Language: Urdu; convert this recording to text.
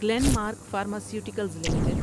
Glenn mark pharmaceuticals limited